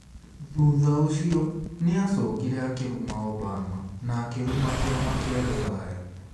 Thutha ũcio, nĩ aacokire akĩruma Obama na akĩruma kĩama kĩa rũraya.